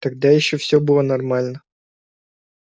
тогда ещё все было нормально